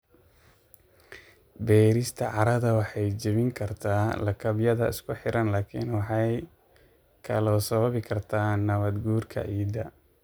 Beerista carrada waxay jebin kartaa lakabyada isku xiran laakiin waxay kaloo sababi kartaa nabaad guurka ciidda.